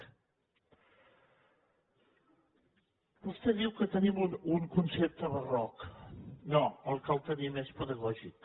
vostè diu que tenim un concepte barroc no el que el tenim és pedagògic